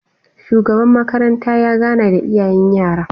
Shugaba makaranta ya gana da iyayen yara